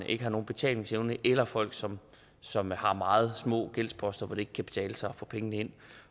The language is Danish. ikke har nogen betalingsevne eller folk som som har meget små gældsposter hvor det ikke kan betale sig at få pengene ind